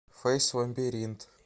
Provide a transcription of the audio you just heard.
фэйс лабиринт